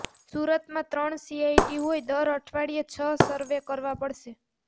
સુરતમાં ત્રણ સીઆઈટી હોય દર અઠવાડિયે છ સરવે કરવા પડશે